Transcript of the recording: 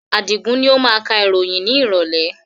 Adigun ni ó máa ka ìròyìn ni ìrọ̀lẹ̀